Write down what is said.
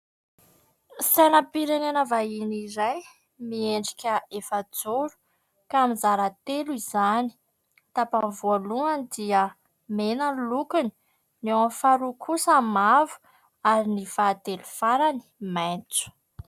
Sainam-pirenena vahiny iray, miendrika efajoro ka mizara telo izany. Tapany voalohany dia mena no lokony ny ao amin'ny faharoa kosa mavo ary ny fahatelo farany maitso.